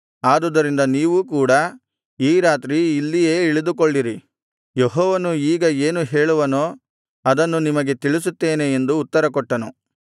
ಆದುದರಿಂದ ನೀವೂ ಕೂಡ ಈ ರಾತ್ರಿ ಇಲ್ಲಿಯೇ ಇಳಿದುಕೊಳ್ಳಿರಿ ಯೆಹೋವನು ಈಗ ಏನು ಹೇಳುವನೋ ಅದನ್ನು ನಿಮಗೆ ತಿಳಿಸುತ್ತೇನೆ ಎಂದು ಉತ್ತರಕೊಟ್ಟನು